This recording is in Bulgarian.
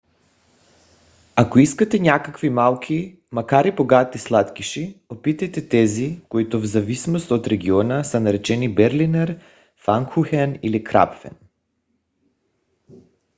ако искате някакви малки макар и богати сладкиши опитайте тези които в зависимост от региона са наречени берлинер пфанкухен или крапфен